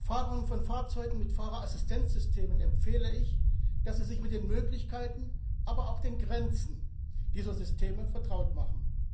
Fahrern von Fahrzeugen mit Fahrerassistenzsystemen empfehle ich, dass sie sich mit den Möglichkeiten, aber auch den Grenzen dieser Systeme vertraut machen.